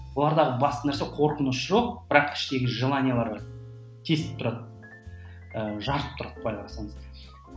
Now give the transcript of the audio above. олардағы басты нәрсе қорқыныш жоқ бірақ іштегі желаниелері бар тесіп тұрады ыыы жарып тұрады былай қарасаңыз